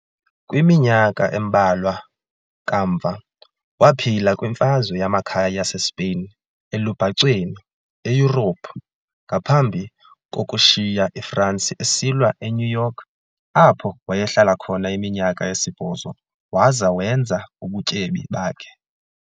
kwiminyaka embalwa kamva, waphila kwiMfazwe Yamakhaya yaseSpain elubhacweni eYurophu, ngaphambi kokushiya iFransi esilwa eNew York, apho wayehlala khona iminyaka esibhozo waza wenza ubutyebi bakhe.